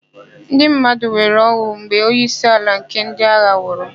NdỊ mmadụ nwere ọn̄ụ mgbe onyeisiala nke ndỊ agha nwụrụ.